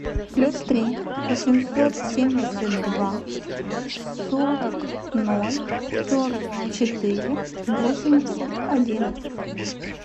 плюс три восемьсот семьдесят два сорок ноль сорок четыре восемьдесят один